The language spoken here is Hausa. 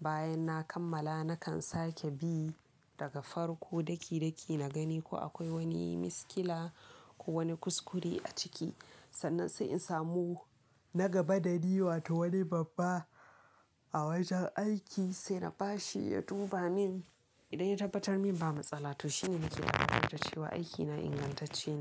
bayan na kammala, na kan sake bi daga farko daki-daki na gani ko akwai wani miskila ko wani kuskure a ciki. Sannan sai in samu na gaba dani wato wani babba a wajen aiki sai na bashi ya duba min. Idan ya tabbatar min ba matsala to shine nake ganewa da cewa aikina ingantacce ne.